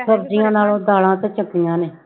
ਸਬਜ਼ੀਆਂ ਨਾਲੋਂ ਦਾਲਾਂ ਤੇ ਚੰਗੀਆਂ ਨੇ।